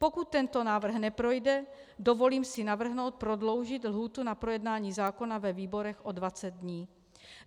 Pokud tento návrh neprojde, dovolím si navrhnout prodloužit lhůtu na projednání zákona ve výborech o 20 dní.